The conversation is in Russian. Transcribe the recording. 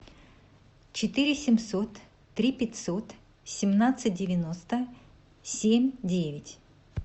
четыре семьсот три пятьсот семнадцать девяносто семь девять